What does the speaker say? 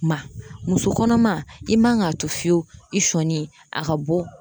Ma muso kɔnɔma i man ka to fiyewu i sɔni a ka bɔ